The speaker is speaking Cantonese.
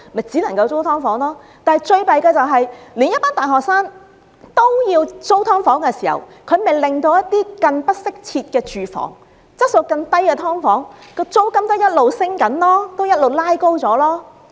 最糟糕的是，當大學生也要租住"劏房"時，更不適切的住房、質素更低的"劏房"的租金便因而持續上升，一直"拉高"。